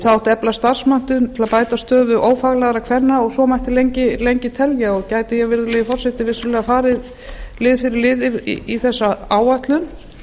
það átti að efla starfsmenntun til að bæta stöðu ófaglærðra kvenna og svo mætti lengi telja og gæti ég virðulegi forseti vissulega farið lið fyrir lið í þessa áætlun